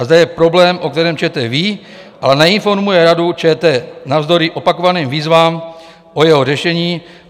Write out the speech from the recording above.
A zde je problém, o kterém ČT ví, ale neinformuje Radu ČT navzdory opakovaným výzvám o jeho řešení.